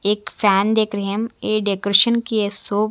एक फैन देख रे है हम ये डेकोरेशन की ये शॉप --